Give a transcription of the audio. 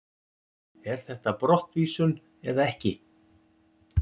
Er þetta brottvísun eða ekki?